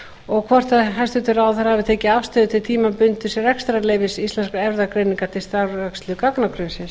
og hvort hæstvirtur ráðherra hafi tekið afstöðu til tímabundins rekstrarleyfis íslenskrar erfðagreiningar til starfsrækslu gagnagrunnsins